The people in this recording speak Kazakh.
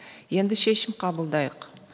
енді шешім қабылдайық